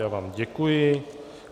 Já vám děkuji.